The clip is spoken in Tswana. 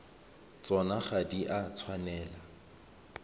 tsona ga di a tshwanela